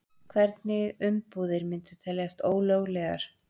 Hvernig umbúðir myndu teljast ólöglegar?